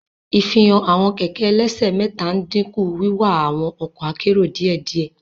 Ifihan awọn kẹkẹ ẹlẹsẹ mẹta n dinku wiwa awọn ọkọ akero diẹdiẹ.